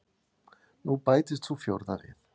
Nú bætist sú fjórða við.